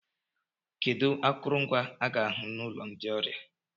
kedu akụrụngwa a ga-ahu na ụlọ ndị ọrịa